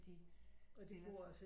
De stiller